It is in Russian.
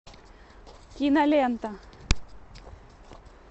кинолента